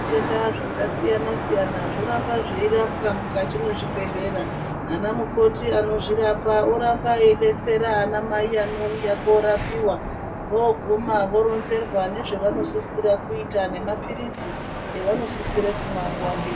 Tenda zvakasiyana siyana zvoramba zveirapwa mukati mwezvibhedhlera ana mukoti anozvirapa oramba eidetsera ana mai anouya korapiwa voguma voronzerwa nezvevanosisira kuita nemapirizi avanosisira kumwa nguwa ngengu.